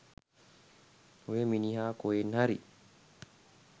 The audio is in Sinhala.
ඔය මිනිහා කොහෙන් හරි